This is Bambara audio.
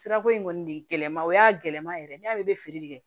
Sirako in kɔni de gɛlɛma o y'a gɛlɛma yɛrɛ de ye ne y'ale bɛ feere kɛ